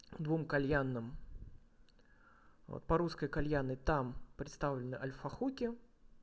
двум кальянным вот по-русской кальянной там представлены альфа хуки